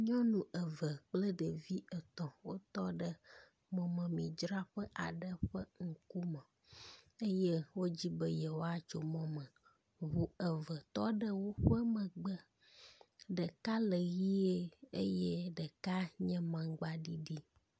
Nyɔnu eve kple ɖevi etɔ̃ wotɔ ɖe mɔmemidzraƒe aɖe ƒe ŋkume eye wodi be yewoatso mɔ me. Ŋu eve tɔ ɖe woƒe megbe. Ɖeka le ʋie eye ɖeka nye amagba ɖiɖi.